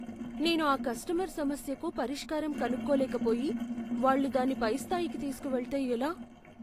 నేను ఆ కస్టమర్ సమస్యకు పరిష్కారం కనుక్కోలేకపోయి, వాళ్ళు దాన్ని పైస్థాయికి తీసుకు వెళ్తే ఎలా?